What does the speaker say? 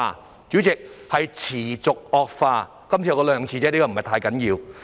代理主席，是持續惡化，我只說兩次，因為不是太緊要。